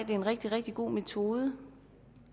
en rigtig rigtig god metode